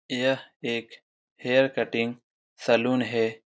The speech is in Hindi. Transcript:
यह एक हेयर कटिंग सलून है।